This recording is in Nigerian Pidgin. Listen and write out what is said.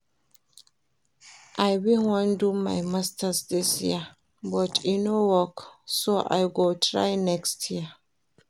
I bin wan do my masters dis year but e no work so I go try next year